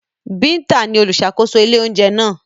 Binta ni oluṣakoso ile ounjẹ naa.